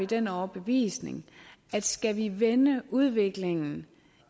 den overbevisning at skal vi vende udviklingen